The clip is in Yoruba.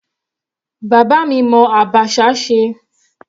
Bàbá mi mọ abacha ṣe.